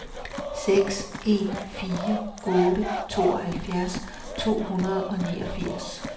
seks en fire otte tooghalvfjerds to hundrede og niogfirs